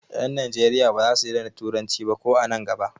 Ƴan Najeriya ba za su daina turanci ba ko an nan gaba.